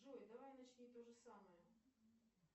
джой давай начни то же самое